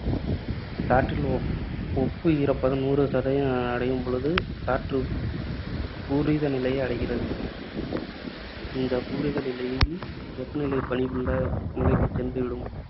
காற்றில் ஒப்பு ஈரப்பதம் நூறு சதவீதம் அடையும்பொழுது காற்று பூரித நிலையை அடைகிறது. இந்தப் பூரித நிலையில் வெப்பநிலை நிலைக்குச் சென்று விடும்.